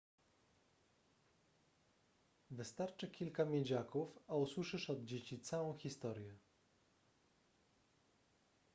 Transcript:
wystarczy kilka miedziaków a usłyszysz od dzieci całą historię